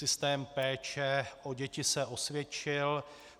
Systém péče o děti se osvědčil.